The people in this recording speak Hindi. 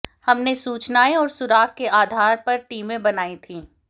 हमने सूचनाएं और सुराग के आधार पर टीमें बनाई थी